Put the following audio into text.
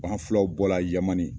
anw filaw bɔla yamani.